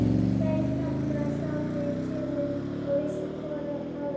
Tveir hrafnar sátu í trénu og vissu hvor að öðrum.